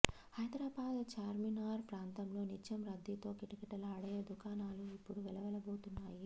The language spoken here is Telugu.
హైదరాబాద్ చార్మినార్ ప్రాంతంలో నిత్యం రద్దీతో కిటకిటలాడే దుకాణాలు ఇప్పుడు వెలవెలబోతున్నాయి